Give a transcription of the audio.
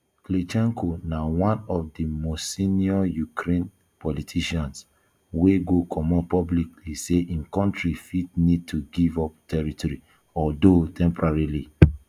klitchko na now one of di most senior ukraine politicians wey go comot publicly say im kontri fit need to give up territory although temporarily